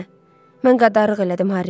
Hə, mən qadarlıq elədim Harri.